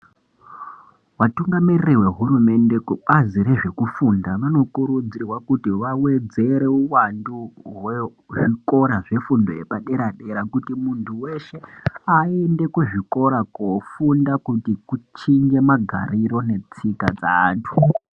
Vatungamiri nehurumende kubazi rekufunda vano kurudzirwa kuti vawedzere uwandu hwezvikora zvefundo yepadera dera kuti muntu weshe ayende kuzvikora kunofunda kuti kuchinje magariro netsika dzeantu.